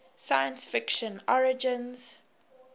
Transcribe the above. science fiction origins